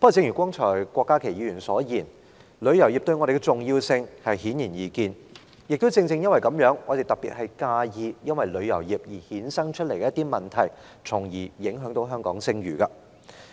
不過，正如郭家麒議員剛才所說，正因旅遊業的重要性顯而易見，我們尤其擔憂旅遊業衍生一些問題，因而影響香港的聲譽。